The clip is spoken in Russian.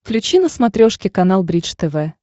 включи на смотрешке канал бридж тв